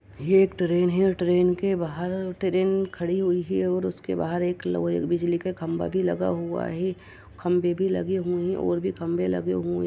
ये एक ट्रेन है और ट्रेन के बाहर ट्रेन खड़ी हुयी है और उसके बाहर एक लोहे बिजली का खम्बा भी लगा हुवा है खम्बे भी लगे हुए हैं और भी खम्बे लगे हुए हैं।